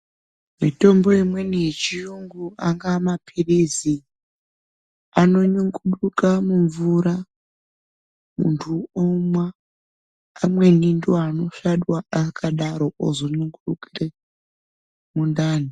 Mitombo imweni yechiyungu angaa maphirizi anonyunguduka mumvura muntu omwa. Amweni ndooanosvadwa akadaro ozonyungurukire mundani.